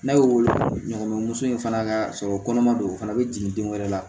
N'a y'o woloɲɔgɔn in fana ka sɔrɔ kɔnɔma don o fana bɛ jigin den wɛrɛ la